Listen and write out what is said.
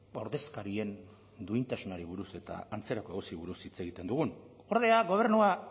ordezkarien duintasunari buruz eta antzerako gauzei buruz hitz egiten dugun ordea gobernua